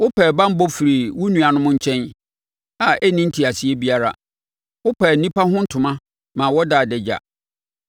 Wopɛɛ banbɔ firii wo nuanom nkyɛn a ɛnni nteaseɛ biara; wopaa nnipa ho ntoma ma wɔdaa adagya.